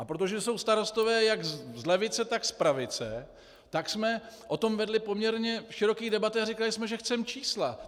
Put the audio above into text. A protože jsou starostové jak z levice, tak z pravice, tak jsme o tom vedli poměrně široké debaty a řekli jsme, že chceme čísla.